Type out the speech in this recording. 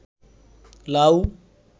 লাউ